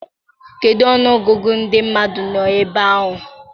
kedụ ọnụọgụgụ ndị mmadụ nọ ebe ahụ?